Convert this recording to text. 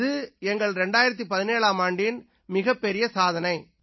இது எங்கள் 2017ஆம் ஆண்டின் மிகப்பெரிய சாதனை